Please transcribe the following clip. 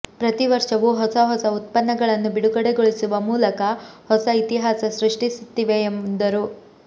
ಪ್ರತೀ ವರ್ಷವೂ ಹೊಸ ಹೊಸ ಉತ್ಪನ್ನಗಳನ್ನು ಬಿಡುಗಡೆಗೊಳಿಸುವ ಮೂಲಕ ಹೊಸ ಇತಿಹಾಸ ಸೃಷ್ಟಿಸುತ್ತಿವೆ ಎಂದರು